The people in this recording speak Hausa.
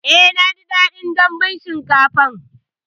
Eh naji daɗin dambun shinkafan